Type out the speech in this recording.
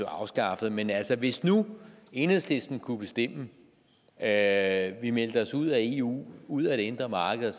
afskaffet men altså hvis nu enhedslisten kunne bestemme at vi meldte os ud af eu ud af det indre marked